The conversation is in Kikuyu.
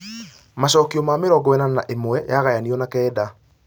macokio ma mĩrongo ĩnana na ĩmwe yagayanio na kenda